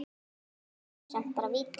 Víti er samt bara víti.